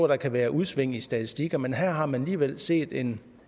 der kan være udsving i statistikkerne men her har man alligevel set en